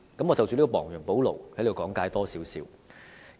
我想就"亡羊補牢"的說法稍作解釋。